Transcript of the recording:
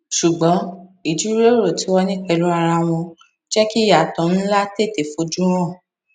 ṣùgbón ìjíròrò tí wón ní pèlú ara wọn jẹ kí ìyàtọ nlá tètè fojú hàn